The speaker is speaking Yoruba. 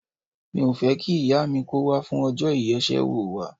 Mi ò fẹ́ kí ìyá mi kó wá fún ọjọ́ ìyeṣẹ́wò wa.